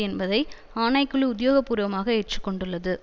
என்பதை ஆனைக்குழு உத்தியோக பூர்வமாக ஏற்றுக்கொண்டுள்ளது